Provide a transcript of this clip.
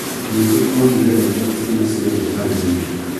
Jesu augire rehei ciana ciothe harĩ niĩ.